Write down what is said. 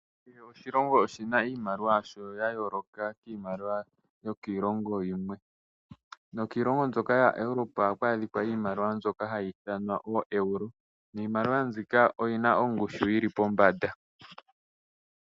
Kehe oshilongo oshina iimaliwa yashoo ya yooloka kiimaliwa yokiilongo yilwe. Nokiilongo mbyoka yaEuropa ohaku adhika iimaliwa mbyoka hayi ithanwa ooeuro. Niimaliwa mbika oyina ongushu yili pombanda.